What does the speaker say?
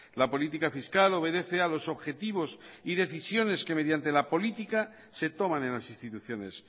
la política fiscal obedece a los objetivos y decisiones que mediante la política se toman en las instituciones